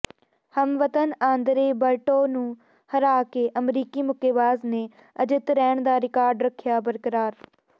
ਹਮਵਤਨ Andre Berto ਨੂੰ ਹਰਾ ਕੇ ਅਮਰੀਕੀ ਮੁੱਕੇਬਾਜ਼ ਨੇ ਅਜਿੱਤ ਰਹਿਣ ਦਾ ਰਿਕਾਰਡ ਰੱਖਿਆ ਬਰਕਰਾਰ